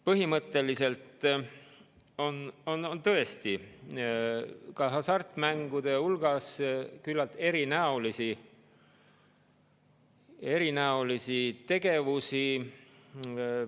Põhimõtteliselt on tõesti ka hasartmängude hulgas küllalt erinäolisi tegevusi.